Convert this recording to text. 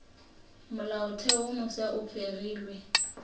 molaotheo wo mofsa e fegilwe